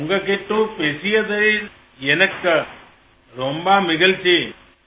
உங்களோடு பேசியது எனக்கு ரொம்ப மகிழ்ச்சி